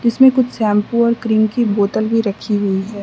इसमें कुछ शैंपू और क्रीम की बोतल भी रखी हुई है।